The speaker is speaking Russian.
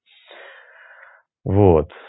вот